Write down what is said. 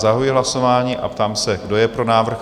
Zahajuji hlasování a ptám se, kdo je pro návrh?